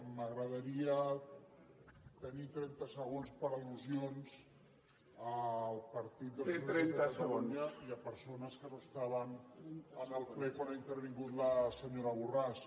m’agradaria tenir trenta segons per al·lusions al partit dels socialistes de catalunya i a persones que no estaven en el ple quan ha intervingut la senyora borràs